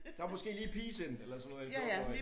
Der måske lige pigesind eller sådan noget i en fjortenårrig